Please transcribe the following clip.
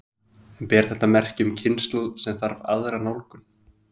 En ber þetta merki um kynslóð sem þarf aðra nálgun?